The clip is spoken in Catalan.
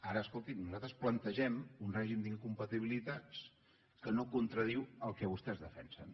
ara escoltin nosaltres plantegem un règim d’incompatibilitats que no contradiu el que vostès defensen